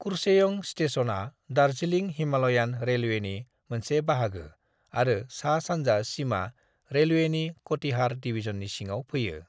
कुर्सेओं स्टेशनआ दार्जिलिं हिमालयान रेलवेनि मोनसे बाहागो आरो सा-सान्जा सिमा रेलवेनि कटिहार डिवीजननि सिङाव फैयो।